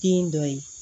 Kin dɔ ye